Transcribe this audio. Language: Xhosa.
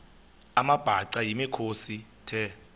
amabhaca yimikhosi the